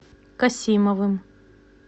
касимовым